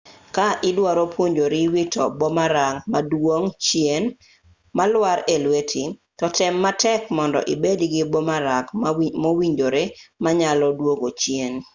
ka idwaro puonjori wito boomerang maduogo chien malwar e lweti to tem matek mondo ibed gi boomerang mowinjore ma nyalo duogo chien